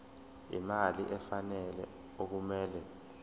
imali efanele okumele